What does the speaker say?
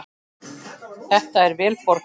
Þetta er vel borgað.